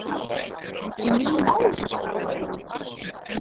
Ný mál þá?